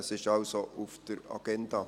Es ist also auf der Agenda.